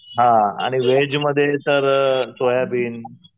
आणि व्हेजमध्ये तर सोयाबीन